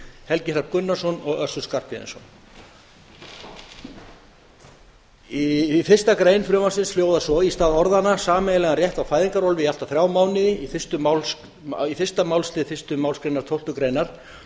helgi hrafn gunnarsson og össur skarphéðinsson fyrstu grein frumvarpsins hljóðar svo í stað orðanna sameiginlegan rétt til fæðingarorlofs í allt að þrjá mánuði í fyrsta málslið fyrstu málsgrein tólftu greinar